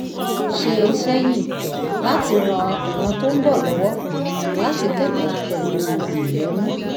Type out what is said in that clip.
ṣe sẹ́yìn láti ran ìran tó ń bọ̀ lọ́wọ́ láti kẹ́kọ̀ọ́ pẹ̀lú ìyọ́nú